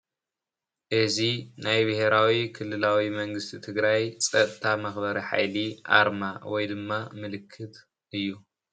አዚ ናይ ቢሄራዊ ክልላዊ መንግስቲ ትግራይ ፀጥታ መክበሪ ሓይሊ ኣርማ ወይ ድማ ምልክት እዩ::